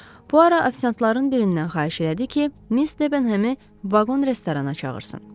Puaro ofisantların birindən xahiş elədi ki, Miss Debenhemi vaqon restorana çağırsın.